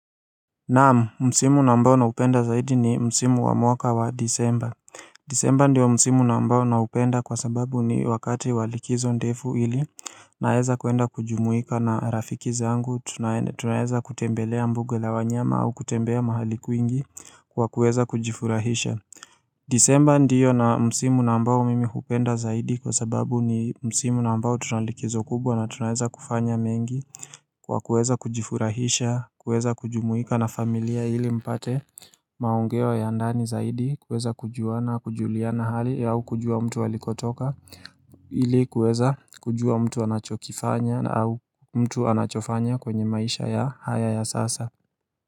Naam, msimu ambao naupenda zaidi ni msimu wa mwaka wa disemba. Disemba ndiyo msimu ambao naupenda kwa sababu ni wakati wa likizo ndefu ili naeza kuenda kujumuika na rafiki zangu, tunaeza kutembelea mbuga la wanyama au kutembea mahali kwingi kwa kuweza kujifurahisha. Disemba ndiyo na msimu ambao mimi hupenda zaidi kwa sababu ni msimu ambao tuna likizo kubwa na tunaweza kufanya mengi, Kwa kuweza kujifurahisha, kuweza kujumuika na familia hili mpate maongeo ya ndani zaidi, kuweza kujuana au kujuliana hali au kujua mtu alikotoka ili kuweza kujua mtu anachokifanya au mtu anachofanya kwenye maisha ya haya ya sasa.